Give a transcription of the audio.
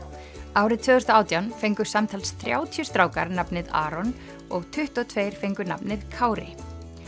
árið tvö þúsund og átján fengu samtals þrjátíu strákar nafnið Aron og tuttugu og tveir fengu nafnið Kári